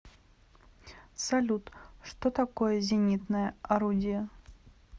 салют что такое зенитное орудие